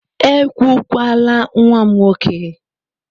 Ekwukwala nwa m nwoke!